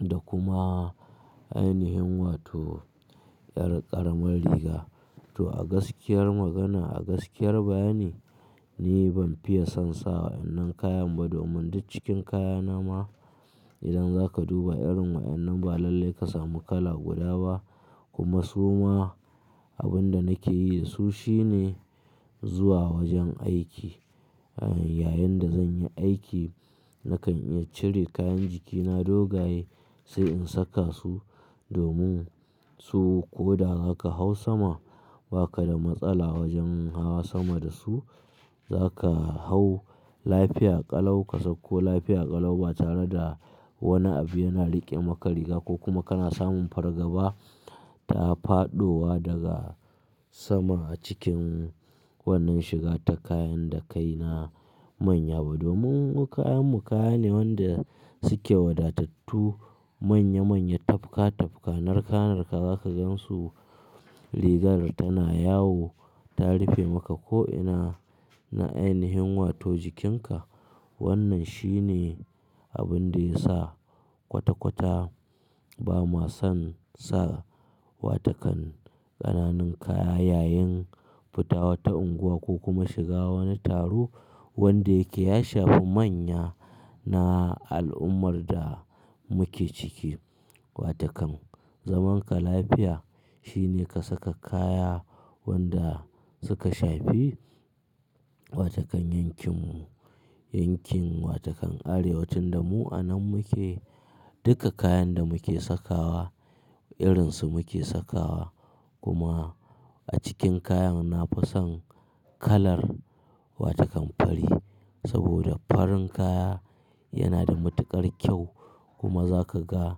da kuma ainihin wato ƙaramin riga. To a gaskiyar magana, a gaskiyar bayani ni ban fiye son sa wa ƴan nan kayan ba domin duk cikin kaya na ma idan za ka duba irin wa ƴan nan ba lallai ka samu kala guda ba kuma su ma abin da nake yi da su shine zuwa wajen aiki. Yayinda zan yi aiki nakan iya cire kayan jiki na dogaye sai in saka su domin su ko da za ka hau sama ba ka da matsala wajen hawa sama da su. Za ka hau lafiya ƙalau ka sauko lafiya ƙalau ba tare da wani abu yana riƙe maka riga ko kuma kana samun fargaba ta faɗowa daga sama cikin wannan shiga ta kayan da kai na manya ba. Domin mu kayanmu kaya ne wanda suke wadatattu manya manya, tafka tafka narka narka za ka gansu rigar tana yawo ta rufe maka ko ina na ainihin wato jikinka. Wannan shi ne abin da ya sa kwata-kwata ba ma son sa watakan ƙananun kaya yayin fita wata unguwa ko kuma shiga wani taro wanda yake ya shafi manya na al'ummar da muke ciki. Wa takan zaman ka lafiya shine ka saka kaya wanda suka shafi wa takan yankinmu, yankin wa takan arewa tun da mu anan muke. Duka kayan da muke sakawa irin su muke sakawa kuma a cikin kayan nafi son kalar wa takan fari saboda farin kaya yana da matuƙar kyau kuma za ka ga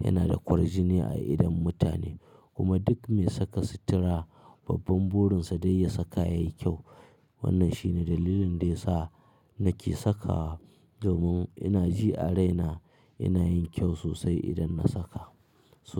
yana da kwarjini a idon mutane kuma duk me saka sutura babban burin sa dai ya saka yai kyau. Wannan shi ne dalilin da ya sa nake saka domin ina ji a raina ina yin kyau sosai idan na saka so.